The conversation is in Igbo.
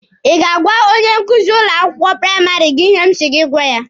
Ị ga-agwa onye nkuzi ụlọ akwụkwọ praịmarị gị ihe m si gị gwa ya!